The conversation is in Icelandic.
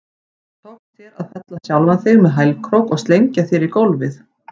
Tókst þér að fella sjálfan þig með hælkrók og slengja þér í gólfið?